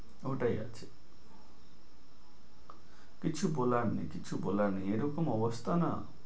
ওটাই আরকি কিছু বলার নেই, কিছু বলার নেই, এরকম অবস্থা না।